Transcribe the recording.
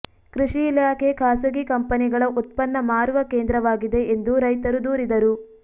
ಕೃಷಿ ಇಲಾಖೆ ಖಾಸಗಿ ಕಂಪನಿಗಳ ಉತ್ಪನ್ನ ಮಾರುವ ಕೇಂದ್ರವಾಗಿದೆ ಎಂದು ರೈತರು ದೂರಿದರು